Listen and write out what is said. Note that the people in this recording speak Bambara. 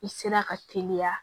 I sera ka teliya